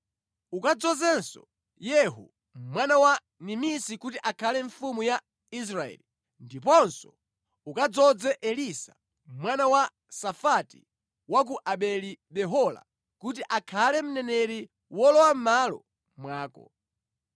Ukadzozenso Yehu mwana wa Nimisi kuti akhale mfumu ya Israeli, ndiponso ukadzoze Elisa mwana wa Safati wa ku Abeli-Mehola kuti akhale mneneri wolowa mʼmalo mwako.